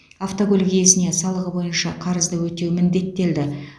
автокөлік иесіне салығы бойынша қарызды өтеу міндеттелді